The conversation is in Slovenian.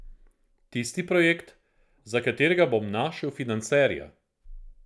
Tisti projekt, za katerega bom našel financerja.